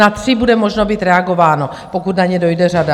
Na tři bude možné být reagováno, pokud na ně dojde řada.